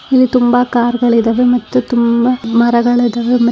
ಇಲ್ಲಿ ತುಂಬಾ ಕಾರಗಳಿದವೆ ಮತ್ತು ತುಂಬಾ ಮರಗಳಿದವೇ ..